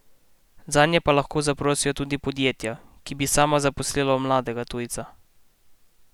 Zanje pa lahko zaprosijo tudi podjetja, ki bi sama zaposlila mladega tujca.